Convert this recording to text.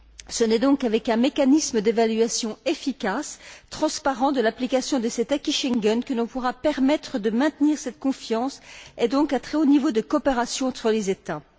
Ce n'est donc qu'avec un mécanisme d'évaluation efficace et transparent de l'application de cet acquis Schengen que l'on pourra permettre de maintenir cette confiance et donc un très haut niveau de coopération entre les États.